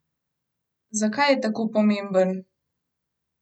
Zakaj je tako pomemben?